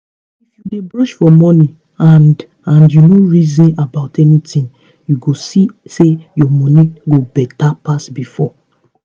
if u dey brush for morning and and u nor reason about anything u go see say ur morning go better pass before